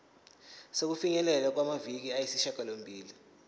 sokufinyelela kumaviki ayisishagalombili